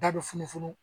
Da bɛ funu funu